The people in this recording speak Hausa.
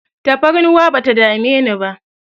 Tafarnuwa bata dame ni ba